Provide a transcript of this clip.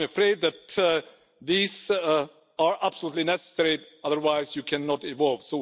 I'm afraid that these are absolutely necessary otherwise you cannot evolve.